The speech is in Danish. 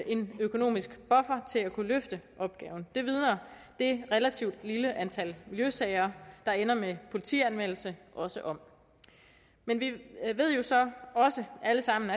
en økonomisk buffer til at kunne løfte opgaven det vidner det relativt lille antal miljøsager der ender med politianmeldelse også om men vi ved jo så også alle sammen